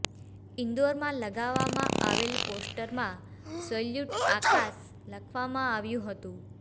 ઈન્દોરમાં લગાવાવમાં આવેલા પોસ્ટરમાં સલ્યૂટ આકાશ લખવામાં આવ્યુ હતુ